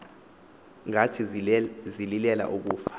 ngathi zililela ukufa